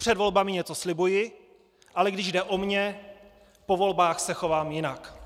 Před volbami něco slibuji, ale když jde o mě, po volbách se chovám jinak.